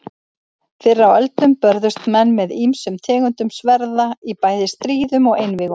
Fyrr á öldum börðust menn með ýmsum tegundum sverða í bæði stríðum og einvígum.